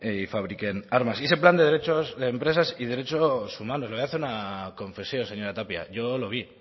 y fabriquen armas y ese plan de derechos de empresas y derechos humanos le voy a hacer una confesión señora tapia yo lo vi